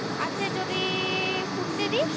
যদি ফুটতে দিস